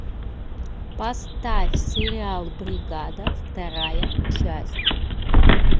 поставь сериал бригада вторая часть